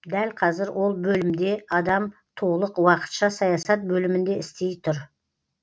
дәл қазір ол бөлімде адам толық уақытша саясат бөлімінде істей тұр